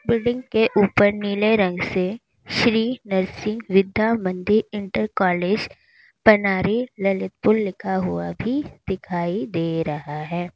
Building के ऊपर नीले रंग से श्री नरसिंह विद्या मंदिर इंटर कॉलेज पनारी ललितपुर लिखा हुआ भी दिखाई दे रहा है।